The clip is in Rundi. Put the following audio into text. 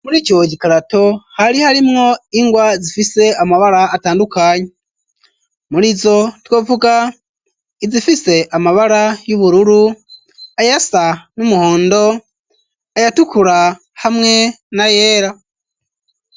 Muri ico gikarato hari harimwo ingwa zifise amabara atandukanye muri zo twovuga izifise amabara y'ubururu ayasa n'umuhondo ayatukura hamwe na yera.